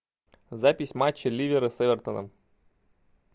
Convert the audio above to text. запись матча ливера с эвертоном